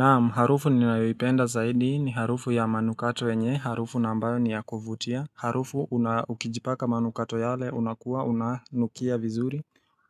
Naam, harufu ninayoipenda zaidi ni harufu ya manukato yenye, harufu na ambayo ni ya kuvutia harufu, unaa ukijipaka manukato yale, unakuwa, una nukia vizuri